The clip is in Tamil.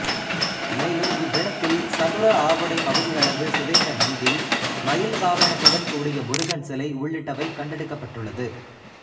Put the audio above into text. மேலும் இவ்விடத்தில் சதுர ஆவுடை பகுதியளவு சிதைந்த நந்தி மயில்வாகனத்துடன் கூடிய முருகன் சிலை உள்ளிட்டவை கண்டெடுக்கப்பட்டுள்ளது